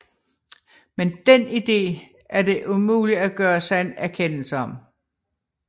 Men dén ide er det umuligt at gøre sig en erkendelse om